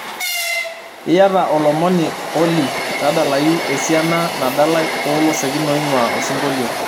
iata olomoni olly tadalayu esiana nadalae olosekin oing'uaa osingolio